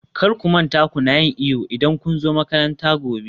kar ku manta kuna yin iyo idan kun zo makaranta gobe